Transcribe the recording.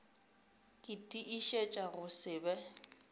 ke tiišetša go se be